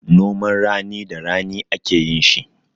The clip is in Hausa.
Noman rani da rani ake yin shi.